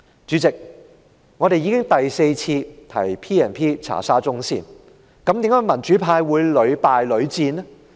主席，我們已經第四次提出引用《條例》調查沙中線，為何民主派會屢敗屢戰呢？